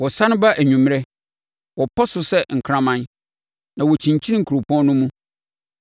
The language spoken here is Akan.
Wɔsane ba anwummerɛ, wɔpɔ so sɛ nkraman, na wɔkyinkyin kuropɔn no mu.